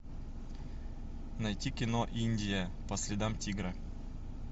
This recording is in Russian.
найти кино индия по следам тигра